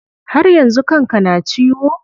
Har yanzu kan ka na ciwo?